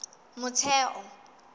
motheo